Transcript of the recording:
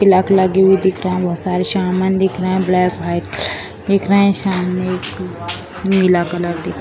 तिलक लगी हुई दिख रहा है बहोत सारे शामान दिख रहे हैं ब्लैक वाइट दिख रहे हैं सामने एक नीला कलर दिख --